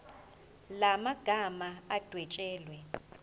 la magama adwetshelwe